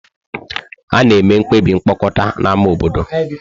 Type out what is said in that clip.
A na-eme mkpebi mkpokọta na ámá obodo.